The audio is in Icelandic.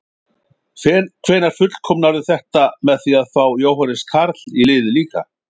Hvenær fullkomnarðu þetta með því að fá Jóhannes Karl í liðið líka?